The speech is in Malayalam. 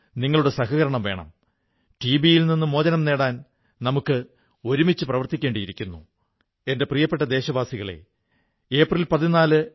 അദ്ദേഹം പറയുന്നു ഏതൊരു മനുഷ്യന്റെയും ഇച്ഛാശക്തി അയാളുടെ കൂടെയുണ്ടെങ്കിൽ ഏതൊരു കാര്യവും നിഷ്പ്രയാസം ചെയ്യാനാകും